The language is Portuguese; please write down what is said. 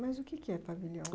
Mas o que é que é pavilhão?